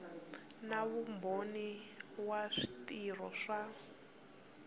na vumbhoni wa switirhiso swa